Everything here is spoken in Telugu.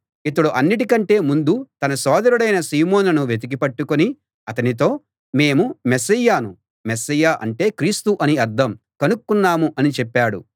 ఇతడు అన్నిటికంటే ముందు తన సోదరుడైన సీమోనును వెతికి పట్టుకుని అతనితో మేము మెస్సీయను మెస్సీయ అంటే క్రీస్తు అని అర్థం కనుక్కున్నాం అని చెప్పాడు